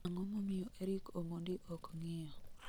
Ang'o momiyo eric omondi ok ng'iyo